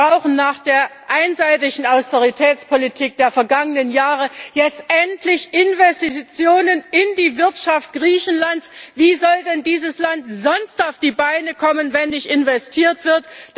Wir brauchen nach der einseitigen Austeritätspolitik der vergangenen Jahre jetzt endlich Investitionen in die Wirtschaft Griechenlands. Wie soll denn dieses Land sonst auf die Beine kommen, wenn nicht investiert wird?